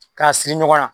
K'a siri ɲɔgɔn na